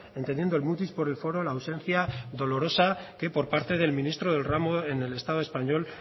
entendiendo el mutis por el foro la ausencia dolorosa que por parte del ministro del ramo en el estado español